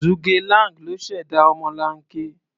Zhuge Liang ló ṣẹ̀dá ọmọlanke.